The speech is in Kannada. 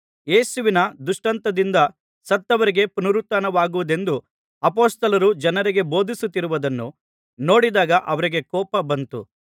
ಯೇಸುವಿನ ದೃಷ್ಟಾಂತದಿಂದ ಸತ್ತವರಿಗೆ ಪುನರುತ್ಥಾನವಾಗುವುದೆಂದು ಅಪೊಸ್ತಲರು ಜನರಿಗೆ ಬೋಧಿಸುತ್ತಿರುವುದನ್ನು ನೋಡಿದಾಗ ಅವರಿಗೆ ಕೋಪ ಬಂತು